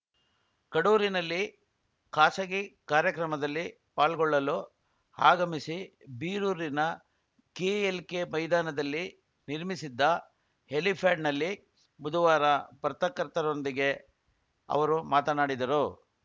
ಕಡೂರಿನಲ್ಲಿ ಖಾಸಗಿ ಕಾರ್ಯಕ್ರಮದಲ್ಲಿ ಪಾಲ್ಗೊಳ್ಳಲು ಆಗಮಿಸಿ ಬೀರೂರಿನ ಕೆಎಲ್‌ಕೆ ಮೈದಾನದಲ್ಲಿ ನಿರ್ಮಿಸಿದ್ದ ಹೆಲಿಫ್ಯಾಡ್‌ನಲ್ಲಿ ಬುಧವಾರ ಪರ್ತಕರ್ತರೊಂದಿಗೆ ಅವರು ಮಾತನಾಡಿದರು